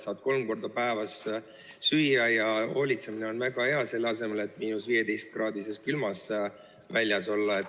Saad kolm korda päevas süüa ja hoolitsemine on väga hea, milleks 15-kraadises külmas väljas olla.